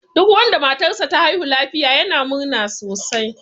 Duk wanda matar sa ta haihu lafiya yana murna sosai.